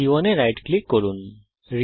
বস্তু c 1 এ right click করুন